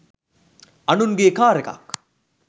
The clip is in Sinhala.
අනුන්ගේ කාර් එකක්